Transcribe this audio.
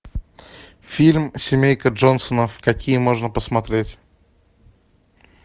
фильм семейка джонсонов какие можно посмотреть